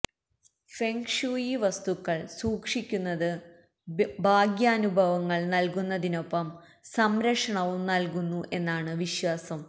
feng shui വസ്തുക്കള് സൂക്ഷിക്കുന്നത് ഭാഗ്യാനുഭവങ്ങള് നല്കുന്നതിനൊപ്പം സംരക്ഷണവും നല്കുന്നു എന്നാണ് വിശ്വാസം